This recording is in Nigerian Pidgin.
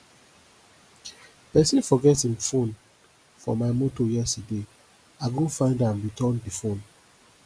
pesin forget im fono for my motor yesterday i go find am return di fone